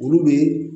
Olu bɛ